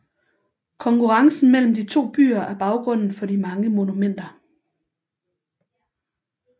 Konkurrencen mellem de to byer er baggrunden for de mange monumenter